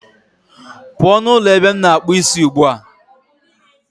Pụọ n'ụlọ ebe m na-akpụ isi ugbu a